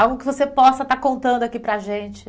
Algo que você possa estar contando aqui para a gente.